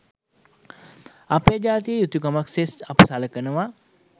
අපේ ජාතික යුතුකමක් සේ අප සලකනවා